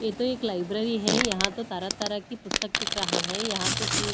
ये तो एक लाइब्रेरी है यहां तो तरह तरह की पुस्तक दिख रहा है यहां तो तीन--